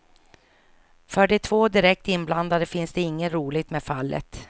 För de två direkt inblandade finns inget roligt med fallet.